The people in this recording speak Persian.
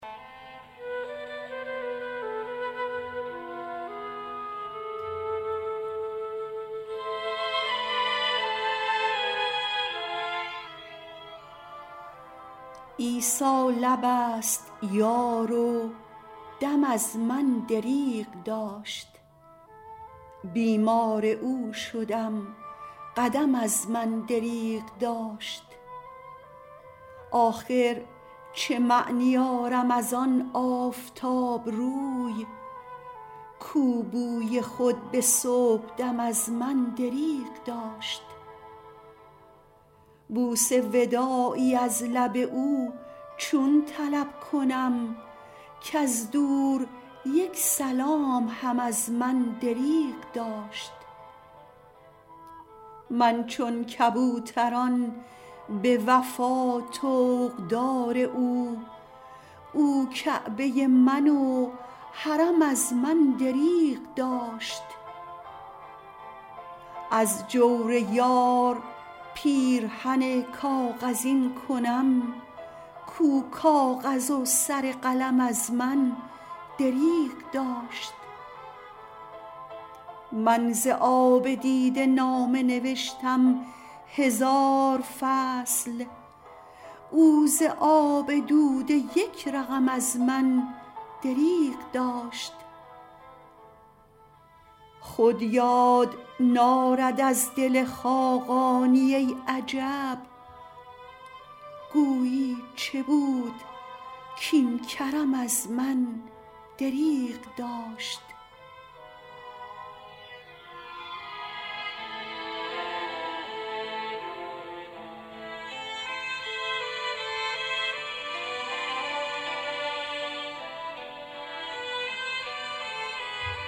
عیسی لب است یار و دم از من دریغ داشت بیمار او شدم قدم از من دریغ داشت آخر چه معنی آرم از آن آفتاب روی کو بوی خود به صبح دم از من دریغ داشت بوس وداعی از لب او چون طلب کنم کز دور یک سلام هم از من دریغ داشت من چون کبوتران به وفا طوق دار او او کعبه من و حرم از من دریغ داشت از جور یار پیرهن کاغذین کنم کو کاغذ و سر قلم از من دریغ داشت من ز آب دیده نامه نوشتم هزار فصل او ز آب دوده یک رقم از من دریغ داشت خود یار نارد از دل خاقانی ای عجب گویی چه بود کاین کرم از من دریغ داشت